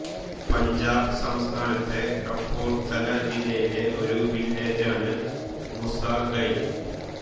പഞ്ചാബ് സംസ്ഥാനത്തെ കപൂർത്തല ജില്ലയിലെ ഒരു വില്ലേജാണ് മുസ ഖൈൽ